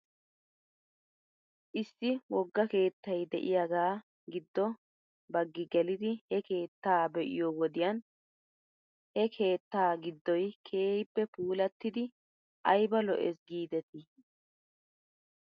Issi wogga keettay de'iyaagaa giddo baggi gelidi he keetta be'iyoo wodiyan he keetta giddoy keehippe puulattidi ayba lo'es giidetii .